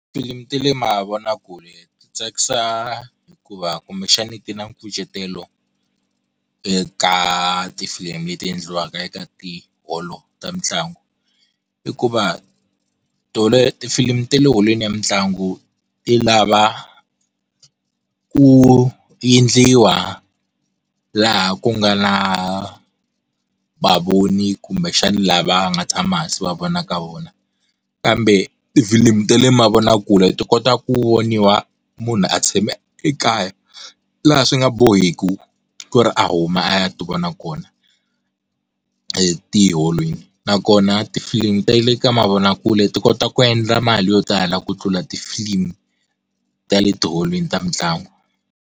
Filimi ti le mavonakule, ti tsakisa hikuva kumbexani ti na nkucetelo, eka tifilimi leti endliwaka eka tiholo ta mitlangu. I ku va ti filimi ta le holweni ya mitlangu, ti lava, ku endliwa laha ku nga na vavoni kumbexani lava nga tshama hansi wa vona ka vona, kambe ti filimu ta le mavonakule ti kota ku voniwa munhu a tshame ekaya, laha swi nga boheki ku ri a huma a ya ti vona kona, etiholweni. Nakona tifilimu ta le ka mavonakule ti kota ku endla mali yo tala ku tlula tifilimu ta le ti eholweni ta mitlangu.